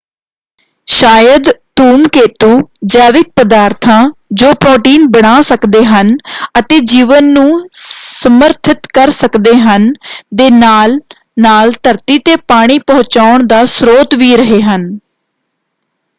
ਸ਼ਾਇਦ ਧੂਮਕੇਤੂ ਜੈਵਿਕ ਪਦਾਰਥਾਂ ਜੋ ਪ੍ਰੋਟੀਨ ਬਣਾ ਸਕਦੇ ਹਨ ਅਤੇ ਜੀਵਨ ਨੂੰ ਸਮਰਥਿਤ ਕਰ ਸਕਦੇ ਹਨ ਦੇ ਨਾਲ ਨਾਲ ਧਰਤੀ ‘ਤੇ ਪਾਣੀ ਪਹੁੰਚਾਉਣ ਦਾ ਸਰੋਤ ਵੀ ਰਹੇ ਹਨ।